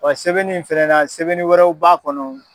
sɛbɛnni in fɛnɛ na sɛbɛnni wɛrɛw b'a kɔnɔ.